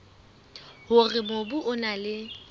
hore mobu o na le